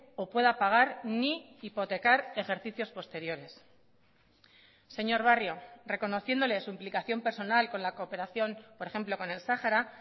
o pueda pagar ni hipotecar ejercicios posteriores señor barrio reconociéndole su implicación personal con la cooperación por ejemplo con el sahara